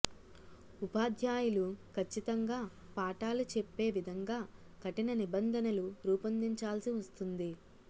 ఉపాధ్యాయులు కచ్చితంగా పాఠాలు చెప్పే విధంగా కఠిన నిబంధనలు రూపొదించాల్సి వస్తుంది